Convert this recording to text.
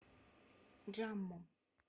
джамму